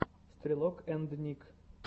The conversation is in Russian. стрелок энд ник